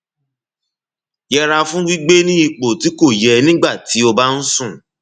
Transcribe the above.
yẹra fún gbígbé ní ipò tí kò yẹ nígbà tí o bá ń sùn